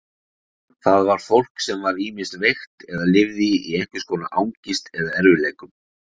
Það var fólk sem var ýmist veikt eða lifði í einhvers konar angist eða erfiðleikum.